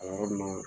A yɔrɔ ninnu na